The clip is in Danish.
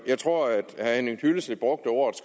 jeg tror at herre henning hyllested brugte ordet